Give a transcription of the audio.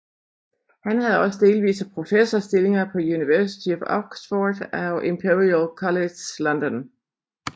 Han havde også delvise professorstillinger på University of Oxford og Imperial College London